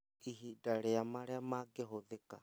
Ihinda rĩa marĩa mangĩhũthĩka